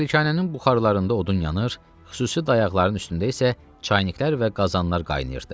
Malikanənin buxarlarında odun yanır, xüsusi dayaqların üstündə isə çayniklər və qazanlar qaynayırdı.